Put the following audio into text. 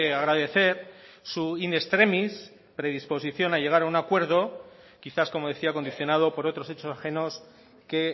agradecer su in extremis predisposición a llegar a un acuerdo quizás como decía condicionado por otros hechos ajenos que